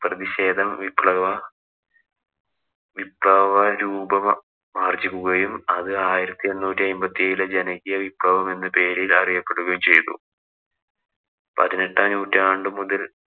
പ്രതിഷേധം വിപ്ലവ വിപ്ലവ രൂപമാര്‍ജ്ജിക്കുകയും അത് ആയിരത്തി എണ്ണൂറ്റി അയ്മ്പത്തിയേഴിലെ ജനകീയ വിപ്ലവം എന്ന പേരില്‍ അറിയപ്പെടുകയും ചെയ്തു.